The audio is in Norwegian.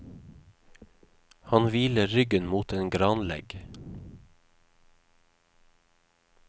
Han hviler ryggen mot en granlegg.